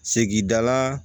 Segin dala